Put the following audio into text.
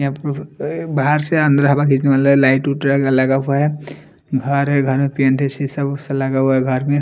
यहाँ पर बाहर से अंदर हवा खींचने वाला लाइट लगा हुआ है घर है घर में पेंट है शीशा सब लगा हुआ है घर में----